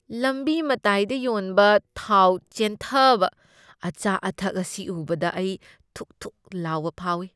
ꯂꯝꯕꯤ ꯃꯇꯥꯏꯗ ꯌꯣꯟꯕ ꯊꯥꯎ ꯆꯦꯟꯊꯕ ꯑꯆꯥ ꯑꯊꯛ ꯑꯁꯤ ꯎꯕꯗ ꯑꯩ ꯊꯨꯛ ꯊꯨꯛ ꯂꯥꯎꯕ ꯐꯥꯎꯢ꯫